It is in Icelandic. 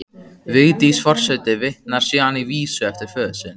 Vigdís forseti vitnar síðan í vísu eftir föður sinn